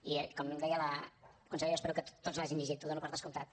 i com deia la consellera espero que tots l’hagin llegit ho dono per descomptat